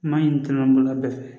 N m'a ɲini tɔnɔ bolola bɛɛ fɛ